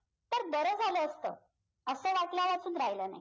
तर बरं झालं असतं असा वाटण्यापासून राहिलं नाही